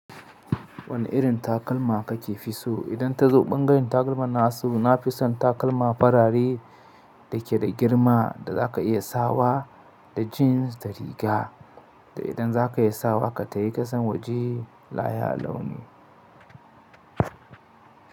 Wane irin takalma kake fi so? Idan ta zo bangaren takalma na su, na fi son takalma farare da ke da girma da za ka iya sawa da jeans da riga. Da idan za ka iya sawa, ka tayi kasan waje layya launi.